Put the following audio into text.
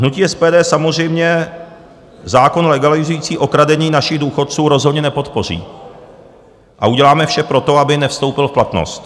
Hnutí SPD samozřejmě zákon legalizující okradení našich důchodců rozhodně nepodpoří a uděláme vše pro to, aby nevstoupil v platnost.